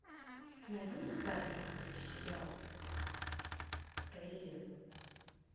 найди мне старый французский сериал про элен